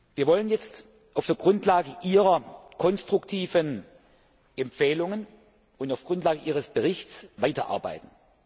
Wir wollen jetzt auf der Grundlage Ihrer konstruktiven Empfehlungen und auf der Grundlage Ihres Berichts weiterarbeiten.